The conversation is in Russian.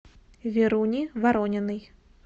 веруни ворониной